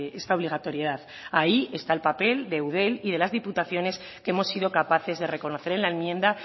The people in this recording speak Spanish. esta obligatoriedad ahí está el papel de eudel y de las diputaciones que hemos sido capaces de reconocer en la enmienda